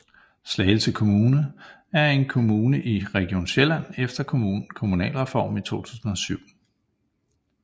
Slagelse Kommune er en kommune i Region Sjælland efter Kommunalreformen i 2007